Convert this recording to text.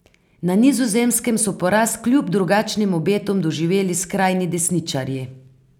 Na Nizozemskem so poraz kljub drugačnim obetom doživeli skrajni desničarji.